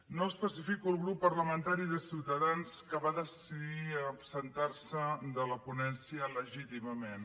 no especifico el grup parlamentari de ciutadans que va decidir absentar se de la ponència legítimament